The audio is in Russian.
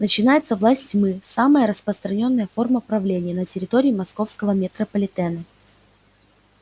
начинается власть тьмы самая распространённая форма правления на территории московского метрополитена